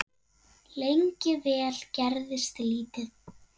Lengi vel gerðist lítið.